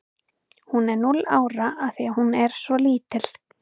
Hún er núll ára af því að hún er svo lítil.